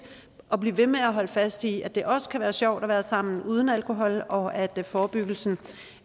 at blive ved med at holde fast i at det også kan være sjovt at være sammen uden alkohol og at forebyggelsen